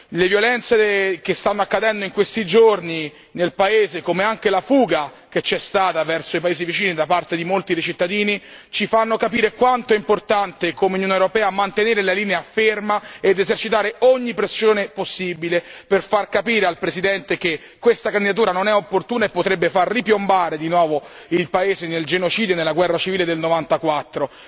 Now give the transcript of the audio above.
Le violenze che stanno accadendo in questi giorni nel paese, come anche la fuga che c'è stata verso i paesi vicini da parte di molti dei cittadini, ci fanno capire quanto sia importante come Unione europea mantenere una linea ferma ed esercitare ogni pressione possibile per far capire al Presidente che questa candidatura non è opportuna e potrebbe far ripiombare di nuovo il paese nel genocidio e nella guerra civile del '94.